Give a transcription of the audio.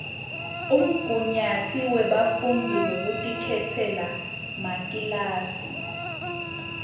umgunyatsi webafundzi wekutikhetsela makilasi